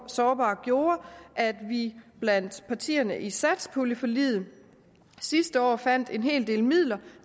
sårbar gjorde at vi blandt partierne i satspuljeforliget sidste år fandt en hel del midler